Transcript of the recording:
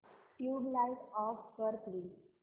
tubelight off कर please